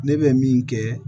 Ne bɛ min kɛ